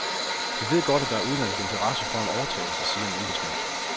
Vi ved godt, at der er udenlandsk interesse for en overtagelse, siger en embedsmand.